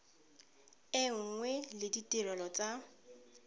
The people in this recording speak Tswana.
e nngwe le ditirelo tsa